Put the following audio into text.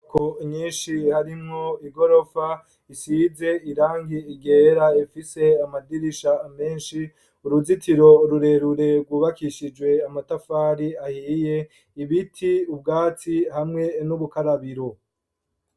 Ku nyinshi harimwo igorofa isize irangi igera ifise amadirisha menshi uruzitiro ururerure wubakishijwe amatafari ahiye ibiti ubwatsi hamwe n'ubukarabiro.